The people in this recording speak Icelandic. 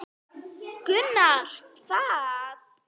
Gunnar: Hvað?